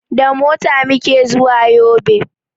Da mota muke zuwa yobe